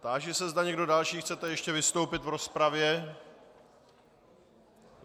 Táži se, zda někdo další chcete ještě vystoupit v rozpravě.